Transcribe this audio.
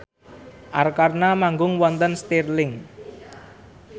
Arkarna manggung wonten Stirling